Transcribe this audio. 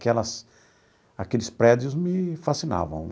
Aquelas aqueles prédios me fascinavam.